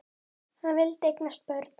Hann vildi eignast börn.